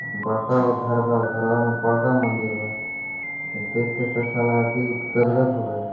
बड़का गो घर बा घर में बड़का गो मंदिर हेय उ देख के साला दिल गद गद हो गया ।